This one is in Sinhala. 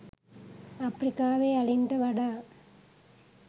අප්‍රිකාවේ අලින්ට වඩා